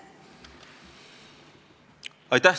Aitäh!